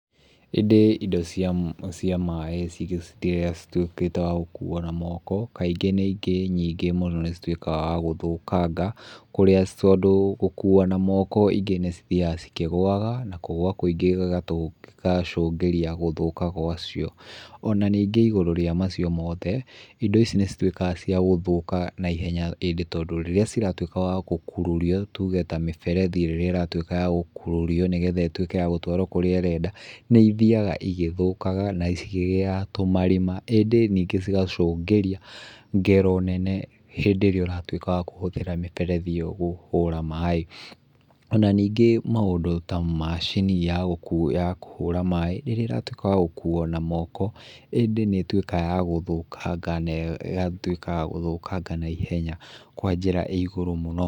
Ĩndĩ, indo cia maĩ cituĩkĩte wa gũkuwo na moko, kaingĩ na ingĩ nyingĩ mũno nĩ ituĩkaga wa gũthũkaga kũrĩa tondũ gũkuwa na moko ingĩ nĩ ithiaga cikĩgũwaga. Na kũgũa kũingĩ gũkacũngĩrĩria gũthũka gwacio. Onaningĩ igũrũ wa macio mothe, indo ici nĩ cituĩkaga cia gũthũka naihenya tondũ ĩndĩ rĩrĩa ciatuĩka cia gũkururio, ta mĩberethi rĩrĩa ĩratuĩka ya gũkururio nĩgetha ĩtuĩke ya gũtwarwo kũrĩa ĩrenda, nĩ ithiaga igĩthũkaga, na ikĩgĩaga tũmarĩma, ĩndĩ ningĩ cigacũngĩrĩria ngero nene hĩndĩ ĩrĩa ũratuĩka wa kũhũthĩra mĩberethi ĩyo kũhũra maĩ. Na nĩngĩ maũndũ ta macini cia kũhũra maĩ, ĩrĩa ĩratuĩka ya gũkuwo na moko, indĩ nĩ ĩtuĩkaga ya gũthũkanga naihenya kwa njĩra ĩigũrũ mũno.